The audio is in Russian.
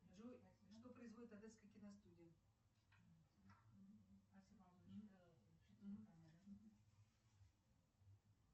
джой что производит одесская киностудия